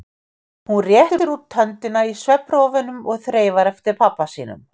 Hún réttir út höndina í svefnrofunum og þreifar eftir pabba sínum.